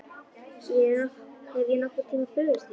Hef ég nokkurn tíma brugðist þér?